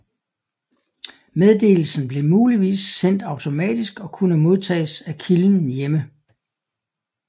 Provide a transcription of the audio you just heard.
Meddelelsen blev muligvis sendt automatisk og kunne modtages af kilden hjemme